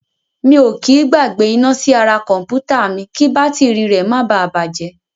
Mi ò kí í gbàgbé iná sí ara kọ̀m̀pútà mi kí bátìrì rẹ̀ máa bà á bàjẹ́.